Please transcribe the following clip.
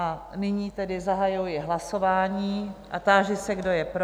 A nyní tedy zahajuji hlasování a táži se, kdo je pro?